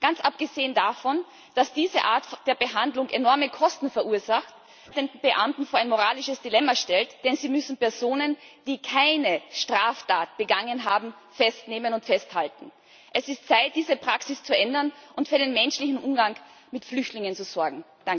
Ganz abgesehen davon, dass diese Art der Behandlung enorme Kosten verursacht und die einschreitenden Beamten vor ein moralisches Dilemma stellt, denn sie müssen Personen, die keine Straftat begangen haben, festnehmen und festhalten. Es ist Zeit, diese Praxis zu ändern und für den menschlichen Umgang mit Flüchtlingen zu sorgen.